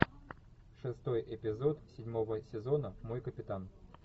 шестой эпизод седьмого сезона мой капитан